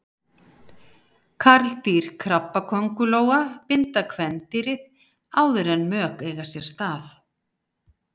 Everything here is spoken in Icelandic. Karldýr krabbaköngulóa binda kvendýrið áður en mök eiga sér stað.